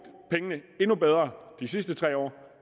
pengene endnu bedre de sidste tre år